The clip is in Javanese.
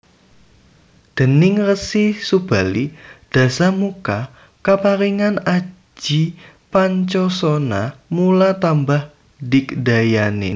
Déning Resi Subali Dasamuka kaparingan aji Pancosona mula tambah digdayané